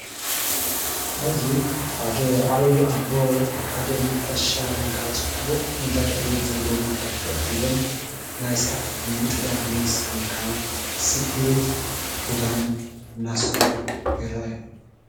ኣብዙይ ሓደ ዓይዪ ኣቦ ሓደ ነፋሻ ወይከዓ ጽቡቕ ኲነታት ኣየር ዘለዎ በታሃክፍ ፊኢሎም ናይ ሥራሕት ምጥላፍ ዝመስል ወይከዓ ስፍት ክዳን እናሣርፈው ይርአዩ።